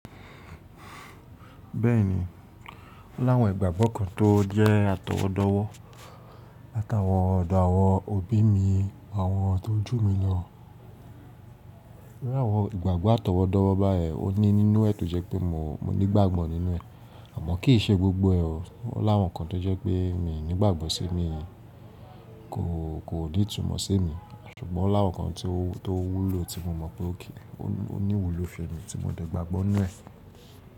Bẹ́ẹ̀ni, ó láwọn ìgbàgbọ́ kan tó jẹ́ atọwọ́dọ̀wọ́ láti ọ̀dọ̀ àwọn òbí mi àwọn tó jù mí lọ. Ní àwọn ìgbàgbọ́ atọwọ́dọ̀wọ́ báyìí, ó ní nínú ẹ̀ tó jẹ́ pé mo nígbàgbọ́ nínú ẹ̀, àmọ́ kì í ṣe gbogbo ẹ̀ o. Ó láwọn kan tó jẹ́ pé mi ò nígbàgbọ́ sí mi, kò ní ìtumọ̀ sí mi, ṣùgbọ́n láwọn kan tó wúlò tí mo mọ̀ pé ó kì í, ó ní ìwúlò fún mi tí mo dẹ̀ gbàgbọ́ nínú ẹ̀.